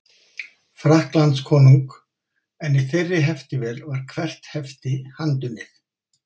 Frakklandskonung, en í þeirri heftivél var hvert hefti handunnið.